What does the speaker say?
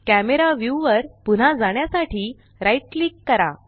camera view वर पुन्हा जाण्यासाठी राइट क्लिक करा